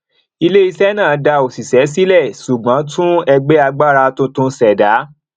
iléiṣẹ náà dá òṣìṣẹ sílẹ ṣùgbọn tún ẹgbẹ agbára tuntun ṣẹdá